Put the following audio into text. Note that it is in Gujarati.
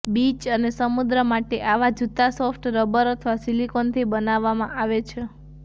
બીચ અને સમુદ્ર માટે આવા જૂતા સોફ્ટ રબર અથવા સિલિકોનથી બનાવવામાં આવે છે